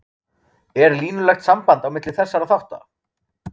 er línulegt samband á milli þessara þátta